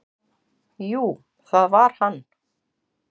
"""Jú, það var hann!"""